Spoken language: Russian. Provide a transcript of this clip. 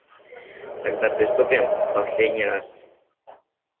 тогда приступим в последний раз